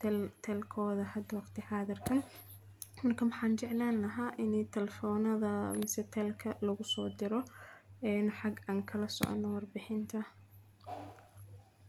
teltelkooda ha doogti xaadar ka. Markaan xajanaan aha inay talfoonada mis telka lagu soo dirro in xag kan kala socondo warbixinta.